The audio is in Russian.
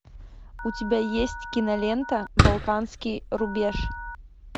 у тебя есть кинолента балканский рубеж